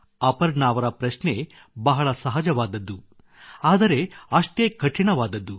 ಅಪರ್ಣಾ ಅವರ ಪ್ರಶ್ನೆ ಬಹಳ ಸಹಜವಾದದ್ದು ಆದರೆ ಅಷ್ಟೇ ಕಠಿಣವಾದದ್ದು